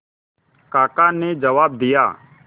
काका ने जवाब दिया